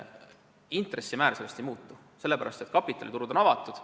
Intressimäär sellest ei muutu, sellepärast et kapitaliturud on avatud.